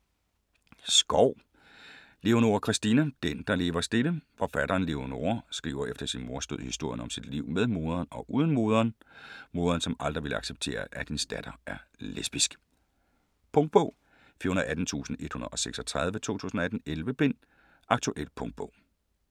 Skov, Leonora Christina: Den, der lever stille Forfatteren Leonora skriver efter sin mors død historien om sit liv med moderen og uden moderen. Moderen som aldrig ville acceptere at hendes datter er lesbisk. Punktbog 418136 2018. 11 bind. Aktuel punktbog